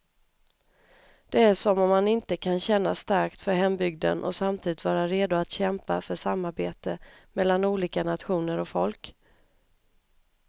Det är som om man inte kan känna starkt för hembygden och samtidigt vara redo att kämpa för samarbete mellan olika nationer och folk.